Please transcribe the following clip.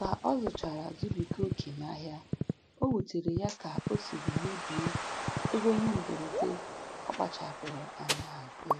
Ka ọ zụchara zubiga oke n'ahịa, o wutere ya ka o siri mebie ego ihe mberede ọ kpachapụrụ anya hazie.